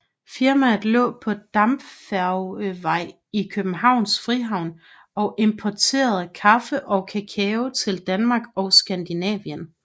Firmaet lå på Dampfærgevej i Københavns Frihavn og importerede kaffe og kakao til Danmark og Skandinavien